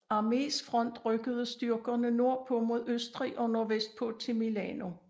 Armés front rykkede styrkerne nordpå mod Østrig og nordvestpå til Milano